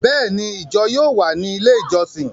Béèni, ijọ yóò wà ni ilé ijọsin